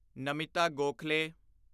Namita Gokhale